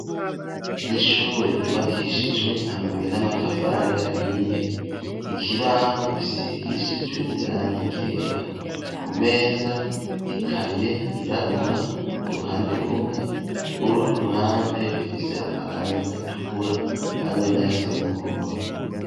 Ishure ryubakishijwe amabuye n'amatafari ahiye ikibaho gisigishijwe irangi ryera ku meza ikaye yirabura uruhande rumwe urundi uruhande rufise amarangi atukura hamwe nayasa n'umuhondo.